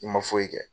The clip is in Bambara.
I ma foyi kɛ